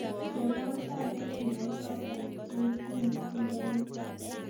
Chengwon kainet nebo choto neityeni tyendo nitoni